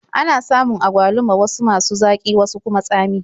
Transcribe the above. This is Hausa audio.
Ana samun agwaluma wasu masu zaƙi wasu kuma tsami.